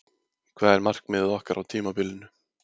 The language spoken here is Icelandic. Hvað er markmiðið okkar á tímabilinu?